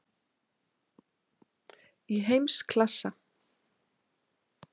Í heimsklassa?